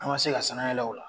An ma se ka sanayɛlɛ o la.